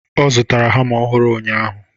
Ọ zụtara hama ọhụrụ ụnyaahụ.